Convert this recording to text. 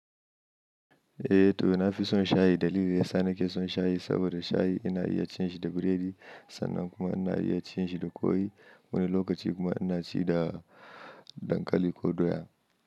Eh to na fi son shayi. Dalili ya sa na ke son shayi saboda shayi ina iya cin shi da biredi sannan kuma ina iya cin shi da kwai wani lokaci kuma ina ci da dankali ko doya.